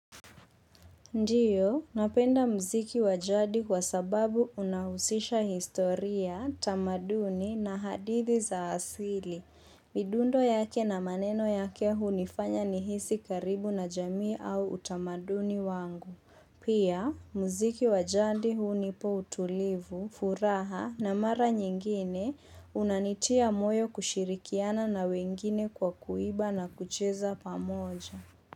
Ndio, napenda mziki wa jadi kwa sababu unahusisha historia, tamaduni na hadithi za asili. Midundo yake na maneno yake hunifanya nihisi karibu na jamii au utamaduni wangu. Pia, mziki wa jadi hunipo utulivu, furaha na mara nyingine unanitia moyo kushirikiana na wengine kwa kuiba na kucheza pamoja.